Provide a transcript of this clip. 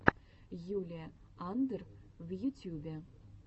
юлия андр в ютьюбе